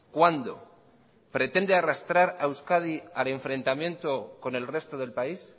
cuándo pretende arrastrar a euskadi al enfrentamiento con el resto del país